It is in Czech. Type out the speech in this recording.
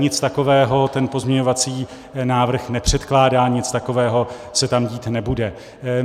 Nic takového ten pozměňovací návrh nepředkládá, nic takového se tam dít nebude.